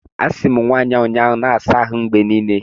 Asị m nwaanyị ahụ ụnyaahụ, na-asa ahụ mgbe niile!